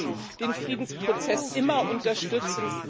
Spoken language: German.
Wir haben den Friedensprozess immer unterstützt